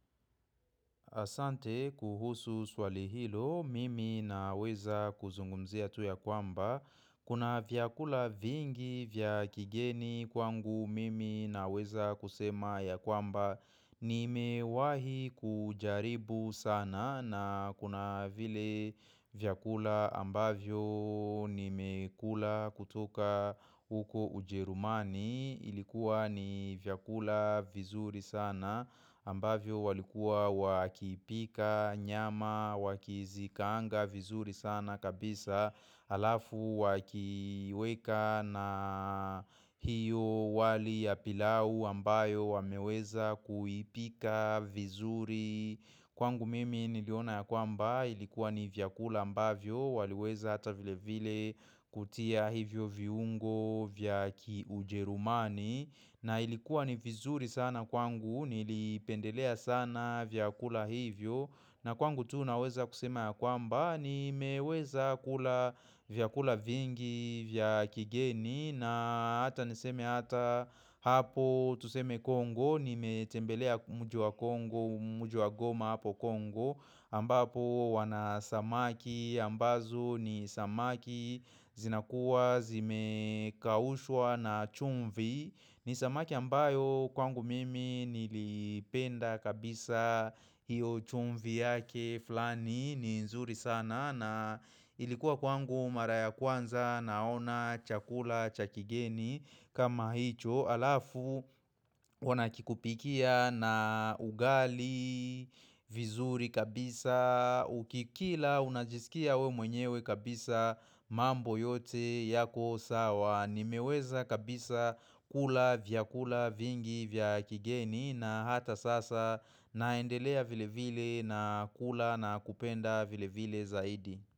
Asante kuhusu swali hilo, mimi naweza kuzungumzia tu ya kwamba. Kuna vyakula vingi vyakigeni kwangu, mimi naweza kusema ya kwamba. Nimewahi kujaribu sana na kuna vile vyakula ambavyo nimekula kutoka uko ujerumani. Ilikuwa ni vyakula vizuri sana ambavyo walikuwa wakipika nyama wakizikaanga vizuri sana kabisa alafu wakiweka na hiyo wali ya pilau ambayo wameweza kuipika vizuri Kwangu mimi niliona ya kwamba ilikuwa ni vyakula ambavyo waliweza hata vile vile kutia hivyo viungo vyaki ujerumani na ilikuwa ni vizuri sana kwangu nilipendelea sana vyakula hivyo na kwangu tu naweza kusema ya kwamba ni meweza kula vyakula vingi vyaki geni na hata niseme hata hapo tuseme Kongo Nimetembelea mji Kongo, mji wa goma hapo Kongo ambapo wanasamaki, ambazo ni samaki zinakuwa zimekaushwa na chumvi ni samaki ambayo kwangu mimi nilipenda kabisa hiyo chumvi yake flani ni nzuri sana na ilikuwa kwangu maraya kwanza naona chakula chakigeni kama hicho alafu wanakikupikia na ugali, vizuri kabisa, ukikila unajisikia we mwenyewe kabisa mambo yote yako sawa nimeweza kabisa kula vya kula vingi vya kigeni na hata sasa naendelea vile vile na kula na kupenda vile vile zaidi.